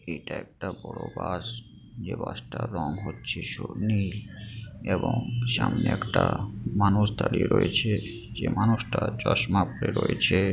এটা একটা বড় বাস যে বাসটা রং হচ্ছে স নীল এবং সামনে একটা মানুষ দাঁড়িয়ে রয়েছে। যে মানুষটা চশমা পরে রয়েছে।